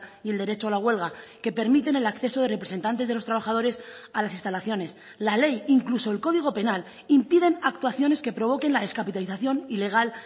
y el derecho a la huelga que permiten el acceso de representantes de los trabajadores a las instalaciones la ley incluso el código penal impiden actuaciones que provoquen la descapitalización ilegal